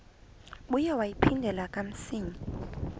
ibuye yaphindela kamsinya